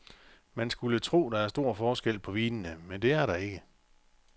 Man skulle tro, der er stor forskel på vinene, men det er der ikke.